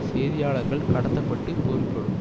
செய்தியாளர்கள் கடத்த பட்டு பொருள்படும்